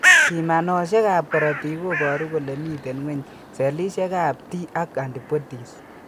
Pimanosiek ab korotik koboru kole miten ng'weny sellishek ab T ak antibodies